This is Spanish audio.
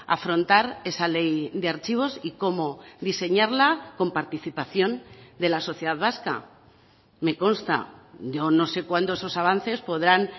afrontar esa ley de archivos y como diseñarla con participación de la sociedad vasca me consta yo no sé cuándo esos avances podrán